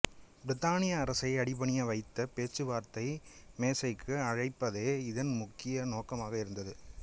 பிரித்தானிய அரசை அடிபணிய வைத்து பேச்சுவார்த்தை மேசைக்கு அழைப்பதே இதன் முக்கிய நோக்காக இருந்தது